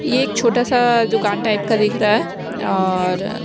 ये एक छोटा सा दुकान टाइप का दिख रहा है और--